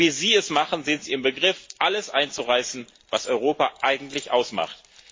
So, wie Sie es machen, sind Sie im Begriff, alles einzureißen, was Europa eigentlich ausmacht.